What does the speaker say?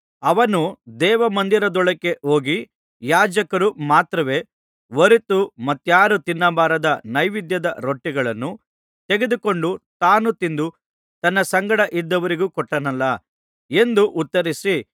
ಅವನು ದೇವಮಂದಿರದೊಳಕ್ಕೆ ಹೋಗಿ ಯಾಜಕರು ಮಾತ್ರವೇ ಹೊರತು ಮತ್ತಾರೂ ತಿನ್ನಬಾರದ ನೈವೇದ್ಯದ ರೊಟ್ಟಿಗಳನ್ನು ತೆಗೆದುಕೊಂಡು ತಾನೂ ತಿಂದು ತನ್ನ ಸಂಗಡ ಇದ್ದವರಿಗೂ ಕೊಟ್ಟನಲ್ಲಾ ಎಂದು ಉತ್ತರಿಸಿ